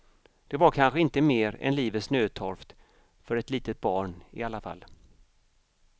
Det var kanske inte mer än livets nödtorft för ett litet barn i alla fall.